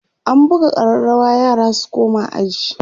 an buga ƙararawa yara su koma aji